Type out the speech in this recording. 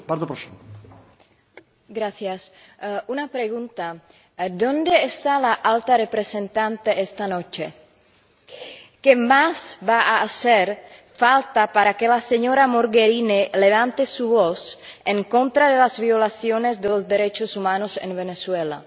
Señor Presidente, una pregunta ¿dónde está la Alta Representante esta noche? ¿Qué más va a hacer falta para que la señora Mogherini levante su voz en contra de las violaciones de los derechos humanos en Venezuela?